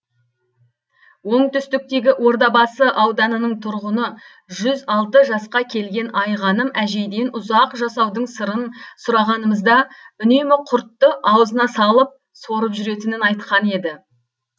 оңтүстіктегі ордабасы ауданының тұрғыны жүз алты жасқа келген айғаным әжейден ұзақ жасаудың сырын сұрағанымызда үнемі құртты аузына салып сорып жүретінін айтқан еді